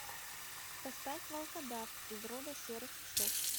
поставь волкодав из рода серых псов